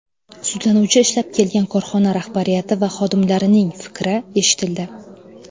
Sudlanuvchi ishlab kelgan korxona rahbariyati va xodimlarining fikri eshitildi.